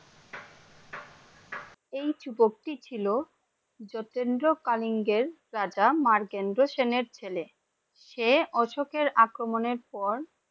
এই ছিল যতীন্দ্র কলিঙ্গের রাজা মারকেন্দ্র সেনের ছেলে, সে অশোকের আক্রমণে পর!